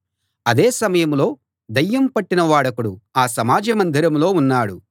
అదే సమయంలో దయ్యం పట్టిన వాడొకడు ఆ సమాజ మందిరంలో ఉన్నాడు